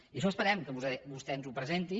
i això esperem que vostè ens ho presenti